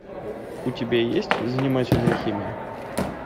у тебя есть занимательная химия